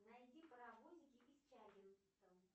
найди паровозики из чаггингтон